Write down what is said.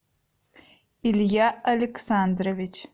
илья александрович